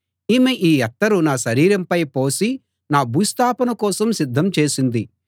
ఈమె ఈ అత్తరు నా శరీరంపై పోసి నా భూస్థాపన కోసం సిద్ధం చేసింది